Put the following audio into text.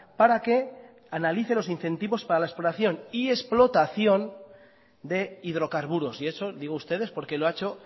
para que analice los incentivos para la exploración y explotación de hidrocarburos y eso digo ustedes porque lo ha hecho